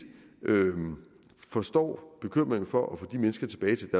forstår bekymringen for at få de mennesker tilbage til